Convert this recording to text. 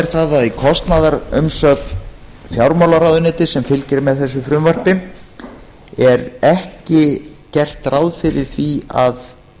er það að í kostnaðarumsögn fjármálaráðuneytis sem fylgir þessu frumvarpi er ekki gert ráð fyrir því að